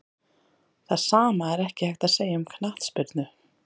Það sama er ekki hægt að segja um knattspyrnu.